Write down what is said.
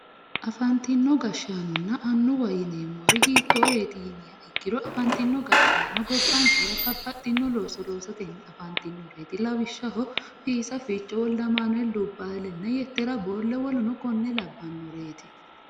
afantino gashaanonna annuwa yineemori hiitooreeti yiniha ikkiro afantino gashaanonno gobbankera babbaxinno looso loosate afantinnoreeti lawishshaho fiisa ficho, wolde amanuel dubaale nna yetera boolle woluno konne labbannoreeti